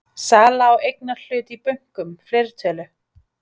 Sala á eignarhlut í bönkum, fleirtölu?